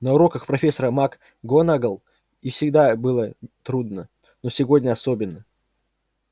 на уроках профессора макгонагалл и всегда было трудно но сегодня особенно